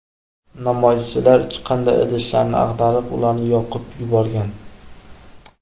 Namoyishchilar chiqindi idishlarini ag‘darib, ularni yoqib yuborgan.